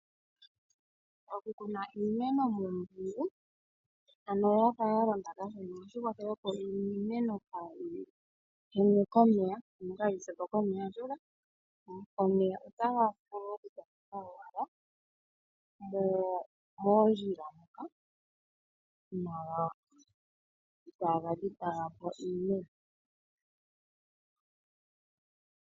Okukuna iimeno muumpungu, ano ya fa ya londa kashona ohashi kwathele, opo iimeno kaayi henwe komeya, ano kaayi se po komeya, oshoka omeya otaga vulu okutondoka ashike moondjila moka itaaga dhipaga po iimeno.